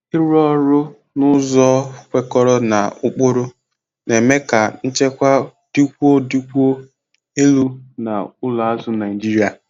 ịrụ ọrụ n'ụzọ kwekọrọ na ụkpụrụ na-eme ka nchekwa dịkwuo dịkwuo elu na ụlọ azụ Naijiria.